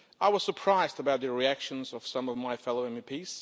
I was surprised about the reactions of some of my fellow MEPs.